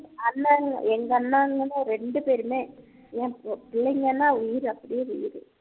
அண்ணனுங்க எங்க அன்ணனுங்கள்ல ரெண்டு பேருமே எம் எப் பிள்ளைங்கன்னா உயிரு அப்படியே உயிரு